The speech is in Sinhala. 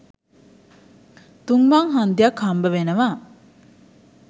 තුන් මං හන්දියක් හම්බවෙනවා.